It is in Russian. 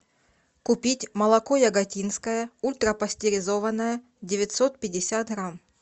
купить молоко яготинское ультрапастеризованное девятьсот пятьдесят грамм